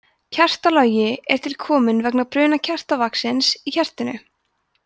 kertalogi er til kominn vegna bruna kertavaxins í kertinu